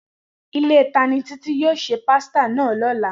Ile tani Titi yoo se pasita naa lola?